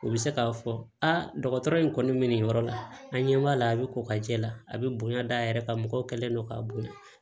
U bɛ se k'a fɔ aa dɔgɔtɔrɔ in kɔni bɛ nin yɔrɔ la an ɲɛ b'a la a bɛ ko ka jɛ la a bɛ bonya da yɛrɛ ka mɔgɔ kɛlen don k'a bonya